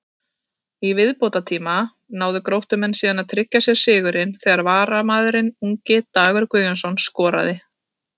Í viðbótartíma náðu Gróttumenn síðan að tryggja sér sigurinn þegar varamaðurinn ungi Dagur Guðjónsson skoraði.